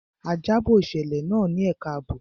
A jábọ̀ ìṣẹ̀lẹ̀ náà ní ẹka àbò.